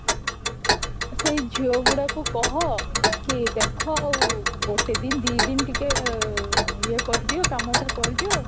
ସେଇ ଝିଅଗୁଡକୁ କହ କି ଦେଖା ଆଉ ଗୋଟେ ଦିନ ଦି ଦିନ ଟିକେ ଇଏ କରିଦିଅ କାମଟା କରିଦିଅ